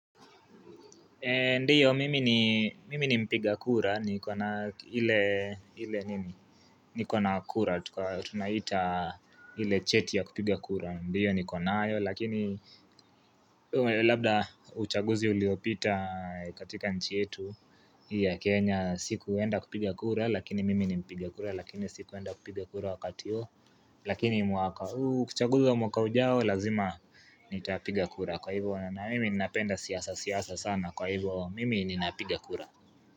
Mimi ni mpiga kura, niko na ile niko na kura, tunaita ile cheti ya kupiga kura, mdiyo niko nayo, lakini labda uchaguzi uliopita katika nchi yetu ya Kenya, sikuenda kupiga kura, lakini mimi ni mpiga kura, lakini sikuenda kupiga kura wakati huo, lakini mwaka huu uchaguzi wa mwaka ujao, lazima nitapiga kura, kwa hivo na mimi napenda siasa siasa sana, kwa hivo mimi ninapiga kura.